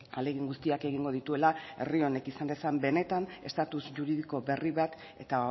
ahalegin guztiak egingo dituela herri honek izan dezan benetan estatus juridiko berri bat eta